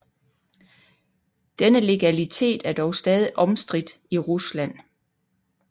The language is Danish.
Denne legalitet er dog stadig omstridt i Rusland